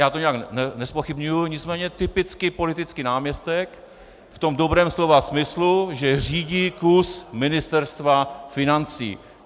Já to nijak nezpochybňuji, nicméně typicky politický náměstek v tom dobrém slova smyslu, že řídí kus Ministerstva financí.